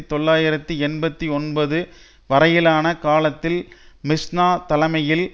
தொள்ளாயிரத்தி எண்பத்தி ஒன்பது வரையிலான காலத்தில் மிஸ்நா தலைமையில்